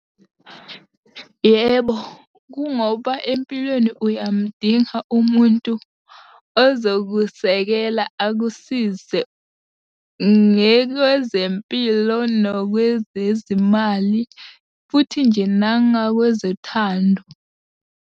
Yebo, kungoba empilweni uyamudinga umuntu ozokusekela akusize, ngekwezempilo nokwezezimali, futhi nje nangakwezothando.